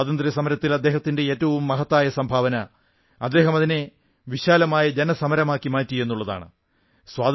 സ്വാതന്ത്ര്യസമരത്തിൽ അദ്ദേഹത്തിന്റെ ഏറ്റവും മഹത്തായ സംഭാവന അദ്ദേഹം അതിനെ വിശാലമായ ജനസമരമാക്കി മാറ്റി എന്നുള്ളതാണ്